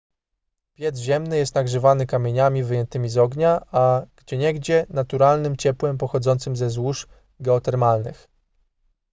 piec ziemny jest nagrzewany kamieniami wyjętymi z ognia a gdzieniegdzie naturalnym ciepłem pochodzącym ze złóż geotermalnych